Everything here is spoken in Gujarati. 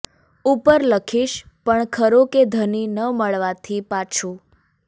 ઉપર લખીશ પણ ખરો કે ધણી ન મળવાથી પાછું